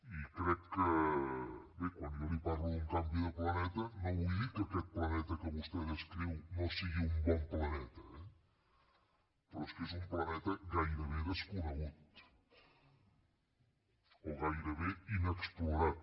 i crec que bé quan jo li parlo d’un canvi de planeta no vull dir que aquest planeta que vostè descriu no sigui un bon planeta eh però és que és un planeta gairebé desconegut o gairebé inexplorat